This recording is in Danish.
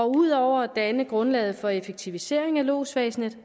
ud over at danne grundlaget for en effektivisering af lodsvæsenet